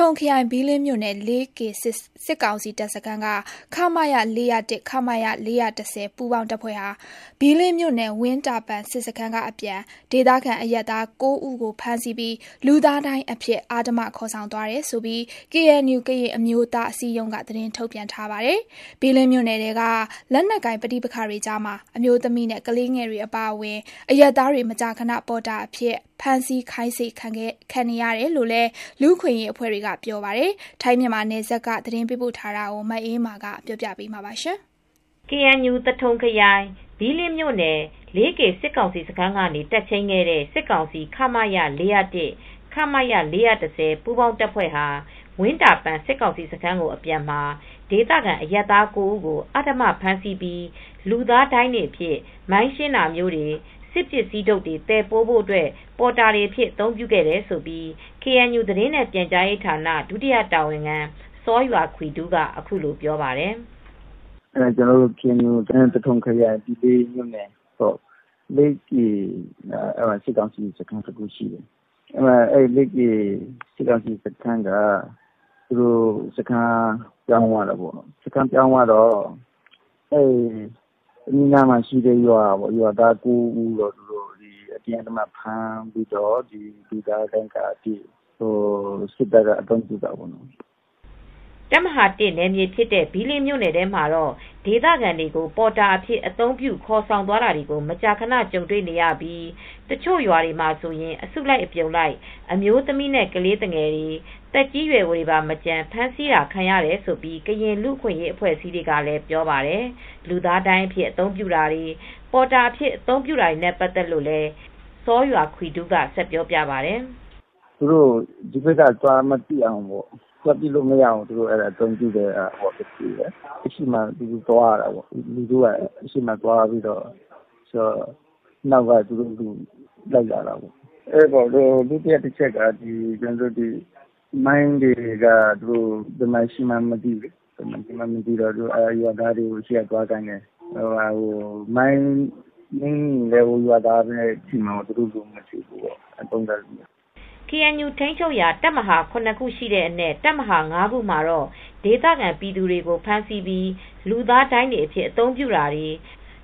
ထုံခရိုင် ဘီးလင်းမြို့နယ် စစ်ကောင်စီတပ်ဖွဲ့ရဲ့ လေးကေစစ်တပ်စခန်းက (ခမရ - ၄၀၁၊ ခမရ-၄၁၀) ပူးပေါင်းတပ်ဖွဲ့ဟာ ဘီးလင်းမြို့နယ် ဝင်းတာပန်စစ်စခန်းကအပြန် ဒေသခံအရပ်သား ၉ ဦးကိုဖမ်းဆီးပြီး လူသားဒိုင်းအဖြစ် အဓမ္မခေါ်ဆောင်သွားတယ်လို့ KNU ကရင်အမျိုးသားအစည်းအရုံးက သတင်းထုတ်ပြန်ထားပါတယ်။ ဘီးလင်းမြို့နယ်ထဲ လက်နက်ကိုင်ပဋိပက္ခတွေကြားမှာ အမျိုးသမီးနဲ့ ကလေးငယ်တွေအပါအဝင် အရပ်သားတွေ မကြာခဏ ပေါ်တာအဖြစ် ဖမ်းဆီးခိုင်းစေခံနေရတယ်လို့လည်း လူ့အခွင့်အရေးအဖွဲ့တွေက ပြောပါတယ်။ ထိုင်းမြန်မာနယ်စပ်ကနေ မအေးအေးမာ သတင်းပေးပို့ထားပါတယ်။ သထုံခရိုင်၊ ဘီးလင်းမြို့နယ်၊ လေးကေစစ်ကောင်စီစခန်းကနေ တပ်ချိန်းခဲ့တဲ့ စစ်ကောင်စီ (ခမရ- ၄၀၁၊ ခမရ-၄၁၀) ပူးပေါင်းတပ် ဖွဲ့ဟာ ဝင်းတာပန်စစ်ကောင်စီစခန်းကို အပြန်မှာ ဒေသခံအရပ်သား ဦးကို အဓမ္မဖမ်းဆီးပြီး လူသားဒိုင်းအဖြစ် မိုင်းရှင်းတာမျိုးတွေ၊ စစ်ပစ္စည်းထုတ်တွေသယ်ပိုးဖို့ ပေါ်တာတွေအဖြစ် အသုံးပြုခဲ့တယ်လို့ KNU သတင်းနဲ့ပြန်ကြားရေးဌာန ဒုတာဝန်ခံ စောယွာခွီဒူးက အခုလိုပြောပါတယ်။ “KNU သထုံခရိုင် လေးကေစစ်ကောင်စီစခန်းဆိုတာရှိတယ်။ လေးကေစစ်ကောင်စီစခန်းကပြောင်းသွားတော့ အနီးအနားမှာရှိတဲ့ ရွာသား ၉ ဦးကို ဖမ်းပြီး လူသားဒိုင်းအဖြစ် အသုံးပြုတာရှိတယ်။” တပ်မဟာ နယ်မြေဖြစ်တဲ့ဘီးလင်းမြို့နယ်ထဲမှာတော့ ဒေသခံတွေကို ပေါ်တာအဖြစ် အသုံးပြုခေါ်ဆောင်သွားတာတွေကို မကြခဏကြုံတွေ့ရပြီး တချို့ ရွာတွေဆိုရင် အစုလိုက်အပြုံလိုက် အမျိုးသမီးနဲ့ကလေးတွေ သက်ကြီးရွယ်အိုတွေပါမကျန် ဖမ်းဆီးခံရတာတွေရှိတယ်လို့ ကရင်လူ့အခွင့်ရေး အဖွဲ့အစည်းတွေကလည်းပြောပါတယ်။ လူသားဒိုင်းအဖြစ်အသုံးပြုတာတွေ၊ ပေါ်တာအဖြစ်အသုံးပြုတာတွေနဲ့ပတ်သက်လို့ သတင်းနဲ့ပြန်ကြားရေးဌာန ဒုတာဝန်ခံစောယွာခွီဒူးက ဆက်ပြောပြပါတယ်။ “သူတို့ကို ဒီဘက်က သွားပစ်လို့မရအောင် သူတို့အသုံးပြုကြတယ်။ လူထုက အရှေ့မှာသွားရတယ်။ တူတူသွားတယ်။ နောက်မှာ သူတို့ကလိုက်တာရှိတယ်။ ဒုတိယတချက်က မိုင်းတွေက ဘယ်မှာရှိမှန်းမသိဘူး။ ရွာသားတွေကို ရှေ့ကသွားခိုင်းတယ်။ မိုင်းနင်းမိရင်လည်း ရွာသားပဲထိမယ်ဆိုတဲ့ပုံစံမျိုးပေါ့။” KNU ထိန်းချုပ်ရာတပ်မဟာ ခုအနက် တပ်မဟာ ခုမှာတော့ စစ်ကောင်စီတပ်တွေဟာ ဒေသခံပြည်သူတွေကိုဖမ်းဆီးပြီး လူသားဒိုင်းအဖြစ်အသုံးပြုတာတွေ၊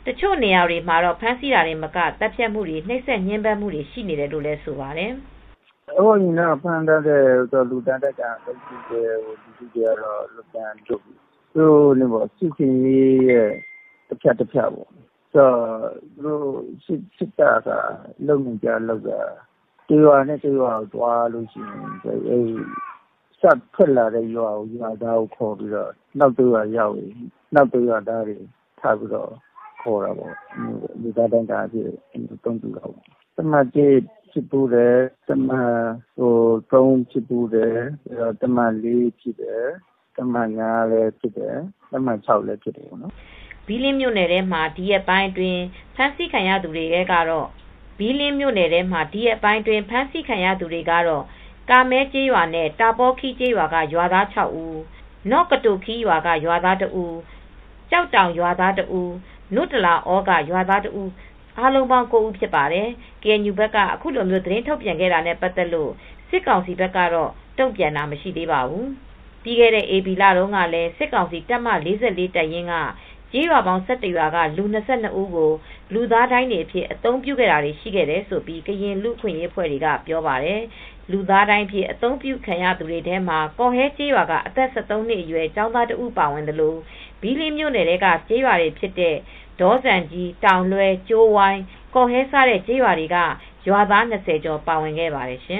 တချို့နေရာတွေမှာ ဖမ်းဆီးတာတင်မက သတ်ဖြတ်မှု၊ နှိပ်စက်ညှဉ်းပမ်းမှုတွေရှိနေတယ်လို့လည်း ဆိုပါတယ်။ “အရင်တုန်းက ဖမ်းပြီး လူသားဒိုင်းအဖြစ်သုံးတာကတော့ စစ်ဆင်ရေး တဖြတ် တဖြတ်မှာ စစ်တပ်ကလုပ်နေကျအလုပ်က ရွာတိုင်းကိုဖြတ်တိုင်း စထွက်လာတဲ့ ရွာသားကိုခေါ်ပြီး နောက်ရွာတွေရောက်ရင် ရောက်တဲ့ရွာက ရွာသားကိုခေါ်တယ်။ လူသားဒိုင်းအဖြစ် အသုံးပြုတာပေါ့။ တပ်မဟာ ဖြစ်တယ်။ တပ်မဟာ မှာဖြစ်တယ် တပ်မဟာ ဖြစ်တယ်။ တပ်မဟာ ဖြစ်တယ်။ တပ်မဟာ မှာလည်းဖြစ်တယ်။” ဘီးလင်းမြိုံ့နယ်ထဲမှာ ဒီရက်အတွင်း ဖမ်းဆီးခံရသူတွေကတော့ ကားမဲကျေးရွာနဲ့တာပေါခီးကျေးရွာက ရွာသား ဦး၊ နော့ကတိုခီးရွာက ရွာသား ဦး၊ ကျောက်တောင်ရွာသား ဦး၊ နို့တလာအော ကရွာသား ဦး အားလုံးပေါင်း ၉ ဦးဖြစ်ပါတယ် ။ KNU ဘက်ကအခုလိုသတင်းထုတ်ပြန်ခဲ့တာနဲ့ပတ်သက်လို့ စစ်ကောင်စီဘက်ကတော့တုံ့ပြန်တာမရှိသေးပါဘူး။ ပြီးခဲ့တဲ့ဧပြီလတုန်းကလည်း စစ်ကောင်စီ တပ်မ တပ်ရင်းက ကျေးရွာပေါင်း ၁၁ ရွာက လူ ၂၂ ဦးကို လူသားဒိုင်းအဖြစ် အသုံးပြုတာတွေရှိခဲ့တယ်လို့ ကရင်လူ့အခွင့်ရေးအဖွဲ့တွေက ပြောပါတယ်။ လူသားဒိုင်းအဖြစ်အသုံးပြုခံရသူတွေထဲမှာ ကော်ဟဲကျေးရွာက အသက် ၁၃ နှစ် အရွယ် ကျောင်းသား ၁ ဦးပါဝင်သလို ဘီးလင်းမြို့နယ်ထဲကကျေးရွာတွေ ဖြစ်တဲ့ ဒေါဇံကြီး၊ တောင်လွဲ၊ ကြိုးဝိုင်း၊ ကော်ဟဲစတဲ့ ကျေးရွာတွေက ရွာသား ၂၀ ကျော် ပါဝင်ခဲ့ပါတယ်ရှင်